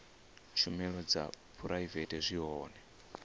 tshumelo dza phuraivete zwi hone